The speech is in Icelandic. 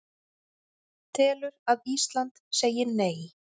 Telur að Ísland segi Nei